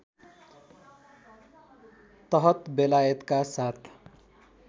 तहत बेलायतका साथ